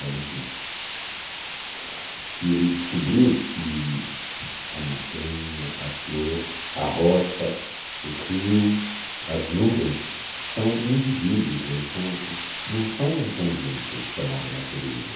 Bom, enfim, que ele descobriu que a montanha, a flor, a rocha, o rio, as nuvens são indivíduos, eles são, não são um conjunto chamado natureza.